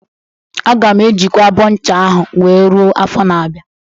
Aga m ejikwa abọ ncha ahụ wee ruo afọ n'abịa.